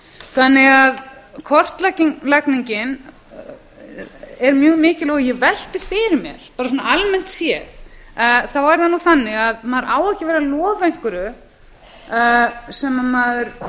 vilja það ekki einu sinni kortlagningin er mjög mikilvæg og ég velti fyrir mér bara svona almennt séð þá er það nú þannig að maður á ekki að vera að lofa einhverju sem maður